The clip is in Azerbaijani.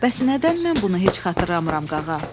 Bəs nədən mən bunu heç xatırlamıram, qağa?